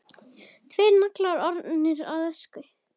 Tveir naglar orðnir að ösku.